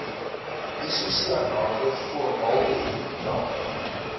isosianate formaldehied dampe